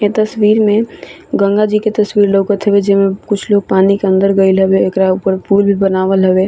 ए तस्वीर में गंगा जी के तस्वीर लोकत हवे जे में कुछ लोग पानी के अंदर गइल हवे एकरा ऊपर पूल बनावल हवे।